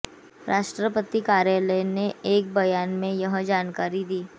राष्ट्रपति कार्यालय ने एक बयान में यह जानकारी दी